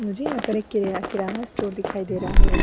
मुझे यहाँ पर एक किरा किराना स्टोर दिखाई दे रहा है।